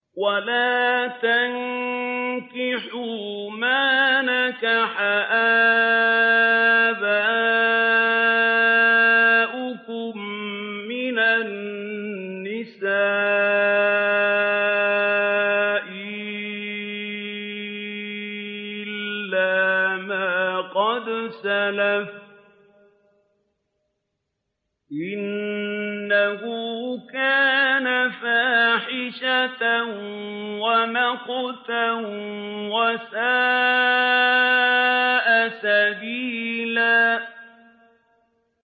وَلَا تَنكِحُوا مَا نَكَحَ آبَاؤُكُم مِّنَ النِّسَاءِ إِلَّا مَا قَدْ سَلَفَ ۚ إِنَّهُ كَانَ فَاحِشَةً وَمَقْتًا وَسَاءَ سَبِيلًا